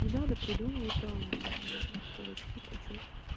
не надо придумывать там короче какие причёски